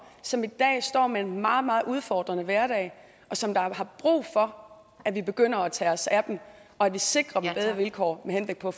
som i dag står med en meget meget udfordrende hverdag og som har brug for at vi begynder at tage os af dem og at vi sikrer dem bedre vilkår med henblik på